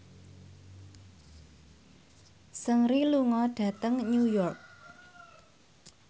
Seungri lunga dhateng New York